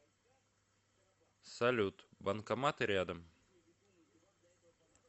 салют банкоматы рядом